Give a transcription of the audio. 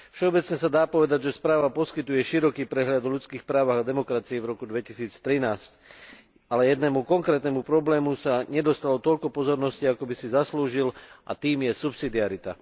Všeobecne sa dá povedať, že správa poskytuje široký prehľad o ľudských právach a demokracii v roku 2013, ale jednému konkrétnemu problému sa nedostalo toľko pozornosti, ako by si zaslúžil, a tým je subsidiarita.